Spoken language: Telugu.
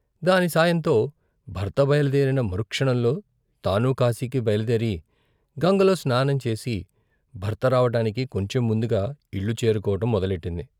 దాని సాయంతో భర్త బయలుదేరిన మరుక్షణంలో తనూ కాశీకి బయలుదేరి గంగలో స్నానంచేసి భర్త రావటానికి కొంచెం ముందుగా ఇల్లు చేరుకోవడం మొదలెట్టింది.